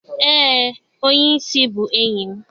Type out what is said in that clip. e, onye-isi bu enyim.